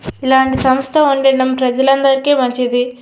ఇలాంటి సంస్థలు ఉండడం ప్రజలందరికీ చాలా మంచిది.